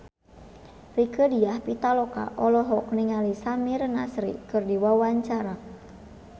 Rieke Diah Pitaloka olohok ningali Samir Nasri keur diwawancara